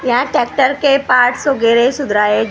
यहाँ ट्रैक्टर के पार्ट्स वगैरह सुधराए --